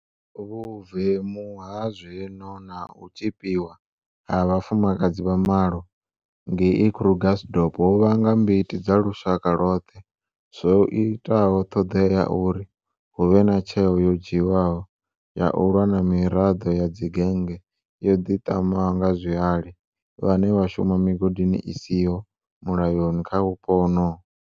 Vhuvemu ha zwezwino na u tzhipiwa ha vhafumakadzi vha malo ngei Krugersdorp ho vhanga mbiti dza lushaka lwoṱhe zwo itaho ṱhoḓea ya uri hu vhe na tsheo yo dzhiwaho ya u lwa na miraḓo ya dzigennge yo ḓiṱamaho nga zwihali vhane vha shuma migodini i siho mulayoni kha vhupo honoho.